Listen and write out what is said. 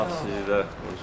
Allah sizi də qorusun.